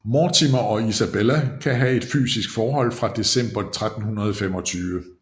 Mortimer og Isabella kan have et fysisk forhold fra december 1325